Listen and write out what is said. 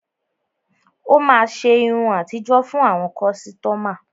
Ó máa ṣe irun àtijó fún àwọn kọ́sítọ́mà.